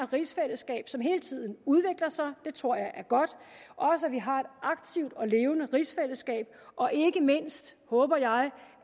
rigsfællesskab som hele tiden udvikler sig og det tror jeg er godt og at vi har et aktivt og levende rigsfællesskab og ikke mindst håber jeg